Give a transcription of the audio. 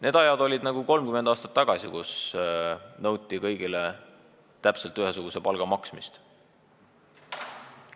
Need ajad olid 30 aastat tagasi, kui nõuti kõigile täpselt ühesuguse palga maksmist.